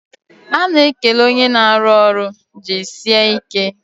A na-ekele onye na-arụ ọrụ "jisie ike"